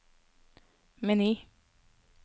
meny